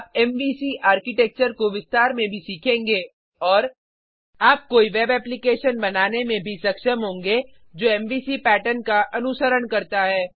आप MVC architecture को विस्तार में भी सीखेंगे और आप कोई वेब एप्लीकेशन बनाने में भी सक्षम होंगे जो एमवीसी पैटर्न का अनुसरण करता है